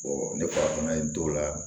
ne farafina don o la